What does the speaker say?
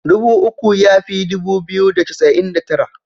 Dubu uku ya fi dubu biyu da casa'in da tara.